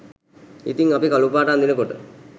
ඉතිං අපි කළු පාට අඳිනකොට